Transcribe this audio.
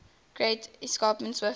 great escarpment swiftly